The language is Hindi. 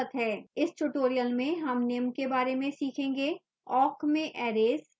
इस tutorial में हम निम्न के बारे में सीखेंगेawk में arrays